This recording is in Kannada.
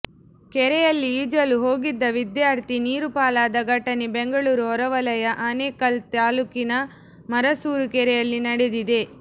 ಕೆರೆಯಲ್ಲಿ ಈಜಲು ಹೋಗಿದ್ದ ವಿದ್ಯಾರ್ಥಿ ನೀರು ಪಾಲಾದ ಘಟನೆ ಬೆಂಗಳೂರು ಹೊರವಲಯ ಆನೇಕಲ್ ತಾಲ್ಲೂಕಿನ ಮರಸೂರು ಕೆರೆಯಲ್ಲಿ ನಡೆದಿದೆ